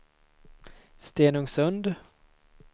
Stenungsund